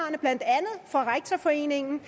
når rektorforeningen